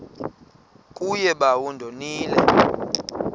kuye bawo ndonile